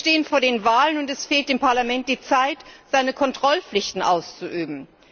Wir stehen vor den Wahlen und es fehlt dem Parlament die Zeit, seine Kontrollpflichten auszuüben.